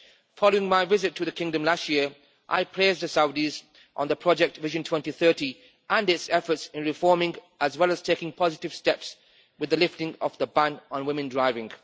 Following my visit to the Kingdom last year, I praised the Saudis on the project Vision 2030 and its efforts in reforming, as well as taking positive steps with the lifting of the ban on women driving.